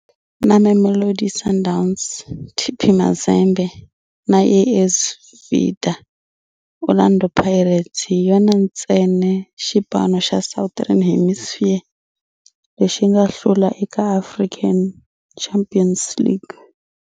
Na Mamelodi Sundowns, TP Mazembe na AS Vita, Orlando Pirates hi yona ntsena xipano xa Southern Hemisphere lexi nga hlula eka African Champions League.